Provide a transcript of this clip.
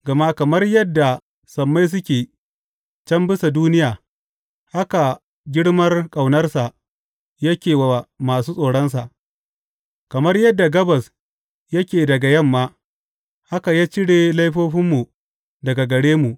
Gama kamar yadda sammai suke can bisa duniya, haka girmar ƙaunarsa yake wa masu tsoronsa; kamar yadda gabas yake daga yamma, haka ya cire laifofinmu daga gare mu.